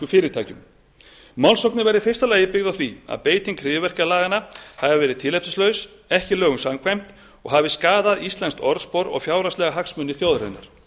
fyrirtækjum málsóknin verði í fyrsta lagi byggð á því að beiting hryðjuverkalaganna hafi verið tilefnislaus ekki lögum samkvæmt og hafi skaðað íslenskt orðspor og fjárhagslega hagsmuni þjóðarinnar